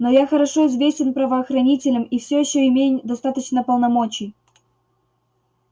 но я хорошо известен правоохранителям и всё ещё имею достаточно полномочий